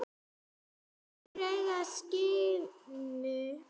sjálfur í eyra syni?